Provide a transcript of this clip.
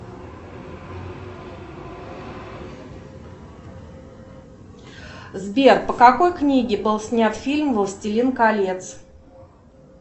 сбер по какой книге был снят фильм властелин колец